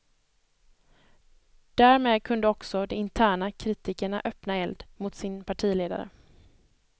Därmed kunde också de interna kritikerna öppna eld mot sin partiledare.